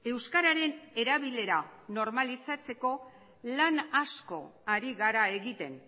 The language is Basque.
euskararen erabilera normalizatzeko lan asko ari gara egiten